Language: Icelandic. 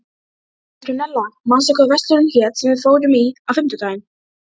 Petrúnella, manstu hvað verslunin hét sem við fórum í á fimmtudaginn?